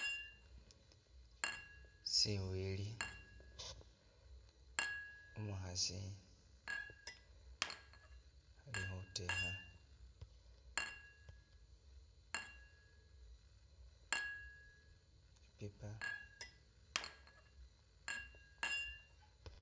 Sibwili,..... umukhasi ali khutekha,..... ipipa